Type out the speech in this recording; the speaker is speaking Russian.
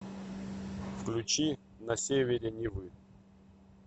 включи на севере невы